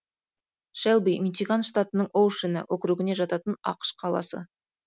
шэлби мичиган штатының оушена округіне жататын ақш қаласы